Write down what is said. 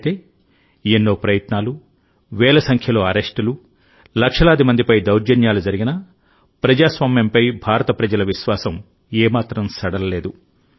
అయితే ఎన్నో ప్రయత్నాలు వేల సంఖ్యలో అరెస్టులు లక్షలాది మందిపై దౌర్జన్యాలు జరిగినా ప్రజాస్వామ్యంపై భారత ప్రజల విశ్వాసం ఏమాత్రం సడలలేదు